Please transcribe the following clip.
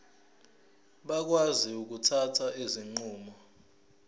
bakwazi ukuthatha izinqumo